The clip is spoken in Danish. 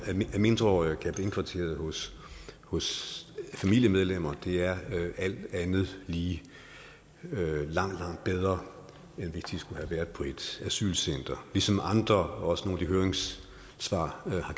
at mindreårige kan blive indkvarteret hos hos familiemedlemmer er alt andet lige langt langt bedre end hvis de skulle have været på et asylcenter ligesom andre og også nogle af høringssvarene har